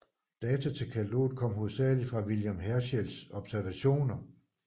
Data til kataloget kom hovedsagelig fra William Herschels observationer